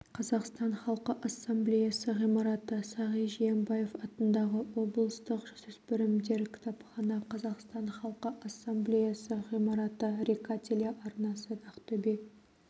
қазақстан халқы ассамблеясы ғимараты сағи жиенбаев атындағы облыстық жасөспірімдер кітапхана қазақстан халқы ассамблеясы ғимараты рика телеарнасы ақтөбе